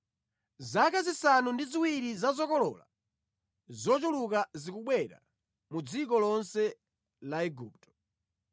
Zaka zisanu ndi ziwiri za zokolola zochuluka zikubwera mu dziko lonse la Igupto,